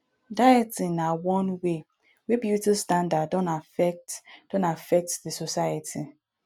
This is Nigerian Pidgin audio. dieting na one wey wey beauty standard don affect don affect di society